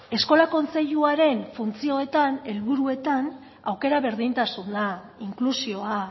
eskola kontseiluaren funtzioetan helburuetan aukera berdintasuna inklusioa